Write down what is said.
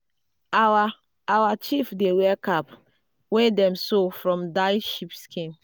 our our chief dey wear cap wey dem sew from dyed sheep skin.